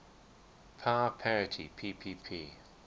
power parity ppp